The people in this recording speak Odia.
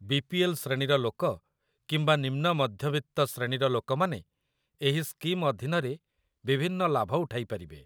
ବି.ପି.ଏଲ୍. ଶ୍ରେଣୀର ଲୋକ କିମ୍ବା ନିମ୍ନ ମଧ୍ୟବିତ୍ତ ଶ୍ରେଣୀର ଲୋକମାନେ ଏହି ସ୍କିମ୍ ଅଧୀନରେ ବିଭିନ୍ନ ଲାଭ ଉଠାଇପାରିବେ